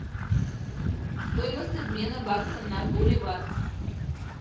стоимость обмена бакса на боливар